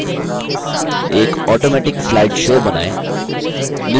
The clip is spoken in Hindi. एक automatic slide show बनाएँ